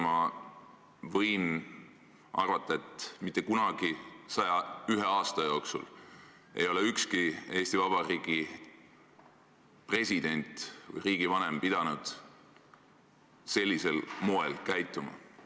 Ma võin arvata, et mitte kunagi 101 aasta jooksul ei ole ükski Eesti Vabariigi president või riigivanem pidanud sellisel moel käituma.